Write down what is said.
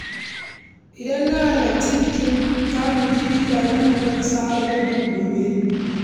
Idan an halarci bikin gargajiya, za ka ga mutane da tufafin gargajiya iri-iri.